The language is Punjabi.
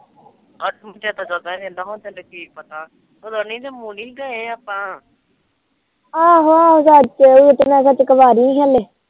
ਆਹੋ ਆਹੋ ਬਸ